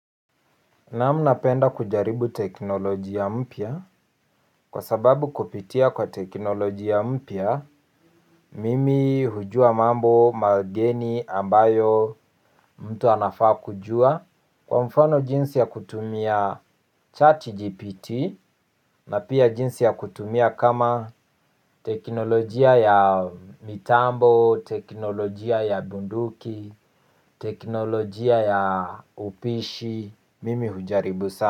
Naam napenda kujaribu teknolojia mpya kwa sababu kupitia kwa teknolojia mpya mimi hujua mambo mageni ambayo mtu anafaa kujua. Kwa mfano jinsi ya kutumia chat GPT na pia jinsi ya kutumia kama teknolojia ya mitambo, teknolojia ya bunduki, teknolojia ya upishi, mimi hujaribu sana.